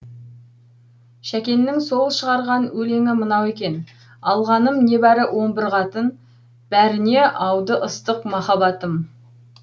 шәкеннің сол шығарған өлеңі мынау екен алғаным небәрі он бір қатын бәріне ауды ыстық махаббатым